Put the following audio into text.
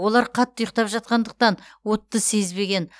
олар қатты ұйықтап жатқандықтан отты сезбеген